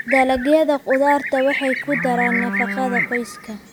Dalagyada khudraddu waxay ku daraan nafaqada qoyska.